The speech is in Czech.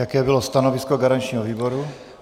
Jako bylo stanovisko garančního výboru?